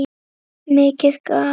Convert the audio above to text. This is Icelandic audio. Mikið gat